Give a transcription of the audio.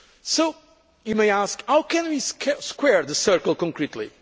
So, you may ask, how can we square the circle concretely?